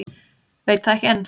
Veit það ekki enn.